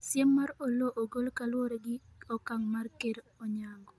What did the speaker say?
siem mar Oloo ogol kaluwore gi okang' mar ker Onyango